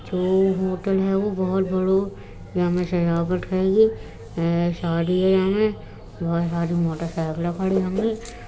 जो होटल है। वो बोहोत बड़ों यामे सजावट हेगे शादी है या मे। बहुत सारे मोटरसाइकिले खड़ी होंगी।